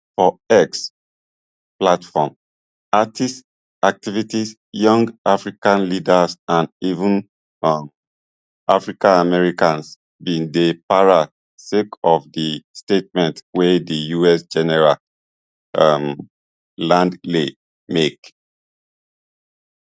for x platform artists activists young african leaders and even um africanamericans bin dey para sake of di statements wey di us general um langley make